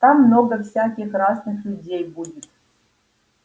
там много всяких разных людей будет